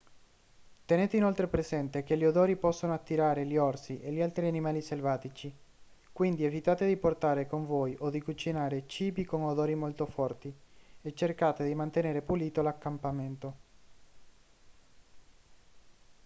tenete inoltre presente che gli odori possono attirare gli orsi e gli altri animali selvatici quindi evitate di portare con voi o di cucinare cibi con odori molto forti e cercate di mantenere pulito l'accampamento